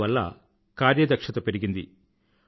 దీనివల్ల కార్యదక్షత పెరిగింది